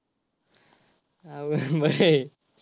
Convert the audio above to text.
अवघड बर आहे.